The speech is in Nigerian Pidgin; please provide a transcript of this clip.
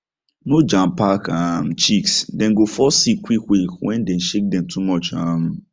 no jam pack um chicks dem go fall sick quick quick when dem shake dem too much um